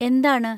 എന്താണ്?